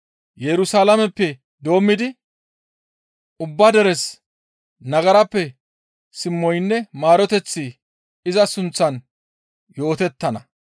Yerusalaameppe doommidi ubba deres nagarappe simoynne maaroteththi iza sunththan yootettana.